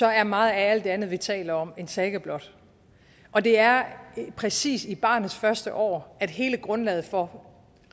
er meget af alt det andet vi taler om en saga blot og det er præcis i barnets første år at hele grundlaget for